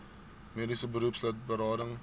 mediese beroepslid berading